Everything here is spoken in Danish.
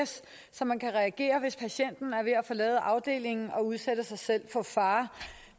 så man kan reagere hvis patienten er ved at forlade afdelingen og udsætte sig selv for fare